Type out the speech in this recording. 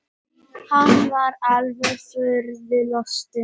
Hann var alveg furðu lostinn.